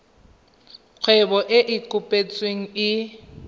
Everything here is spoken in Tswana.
kgwebo e e kopetsweng e